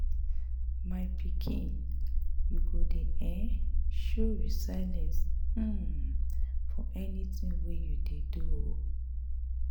My pikin, you go dey um show resilience um for anything you dey do um